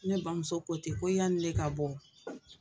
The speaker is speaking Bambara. Ne bamuso ko ten ko yani ne ka bɔ